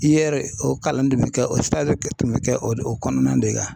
I ye o kalan nin dumuni kɛ o kɔnɔna de la